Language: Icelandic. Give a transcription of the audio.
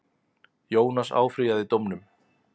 Jónas áfrýjaði dómnum.